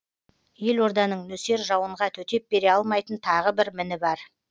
елорданың нөсер жауынға төтеп бере алмайтын тағы бір міні бар